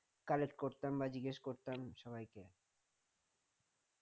collect করতাম বা জিজ্ঞেস করতাম সবাইকে